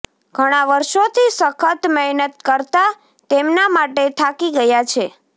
ઘણા વર્ષોથી સખત મહેનત કરતા તેમના માટે થાકી ગયા છે